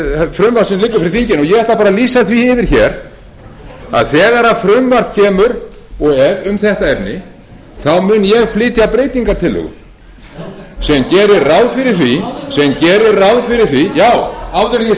frumvarp sem liggur fyrir þinginu ég ætla bara að lýsa því yfir hér að þegar frumvarp kemur og er um þetta efni mun ég flytja breytingartillögu sem gerir ráð fyrir því já áður en ég sé það af